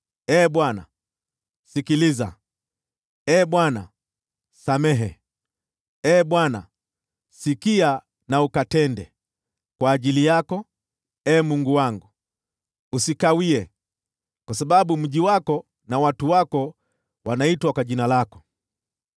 Ee Bwana, sikiliza! Ee Bwana, samehe! Ee Bwana, sikia na ukatende! Kwa ajili yako, Ee Mungu wangu, usikawie, kwa sababu mji wako na watu wako wanaitwa kwa Jina lako.”